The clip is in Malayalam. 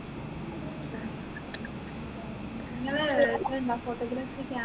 നിങ്ങള് ഇതുണ്ട photography